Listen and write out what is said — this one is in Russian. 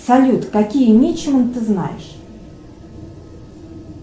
салют какие мичемы ты знаешь